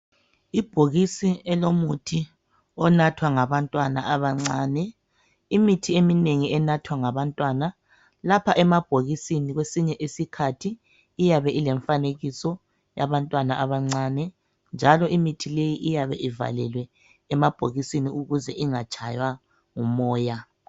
Ibhokisi elomuthi onathwa ngabantwana abancane imithi eminengi enathwa ngabantwana lapha emabhokisini kwesinye isikhathi iyabe ilemfanekiso yabantwana abancane njalo imithi le iyabe ivalelwe emabhokisini ukuze ingatshaywa ngumoya